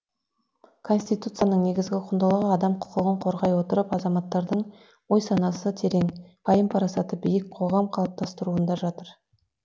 конституцияның негізгі құндылығы адам құқығын қорғай отырып азаматтарының ой санасы терең пайым парасаты биік қоғам қалыптастыруында жатыр